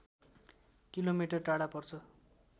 kilometre टाढा पर्छ